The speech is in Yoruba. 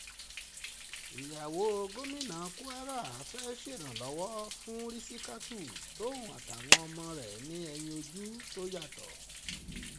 ìyàwó gómìnà kwara fẹ́ẹ́ ṣèrànlọ́wọ́ fún rìsítákù tòun àtàwọn ọmọ rẹ̀ ní ẹ̀yìn ojú tó yàtọ̀